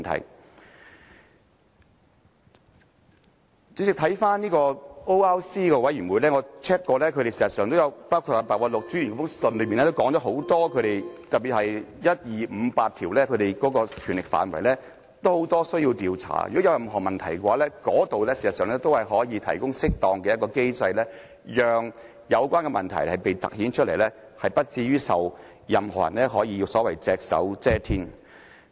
代理主席，關於 ORC， 我曾查看過，而白韞六專員的信件也有提及，在 ORC 的職權範圍下，特別是第一、二、五及八項，其實可作多方面的調查，如有任何問題，那裏可以提供適當機制，讓有關的問題凸顯出來，不致令任何人可隻手遮天。